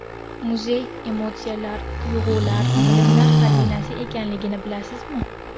Muzey emotsiyalar, tuyg‘ular, bilimlar xazinasi ekanligini bilasizmi?